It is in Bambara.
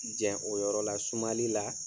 Jɛn o yɔrɔ la sumali la